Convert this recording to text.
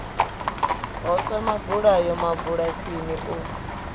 ho sa mabulayo mabulasini u